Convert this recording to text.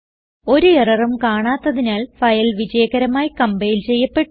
ഒരു എററും കാണാത്തതിനാൽ ഫയൽ വിജയകരമായി കംപൈൽ ചെയ്യപ്പെട്ടു